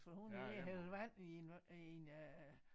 For hun er ved at hælde vand i en i en øh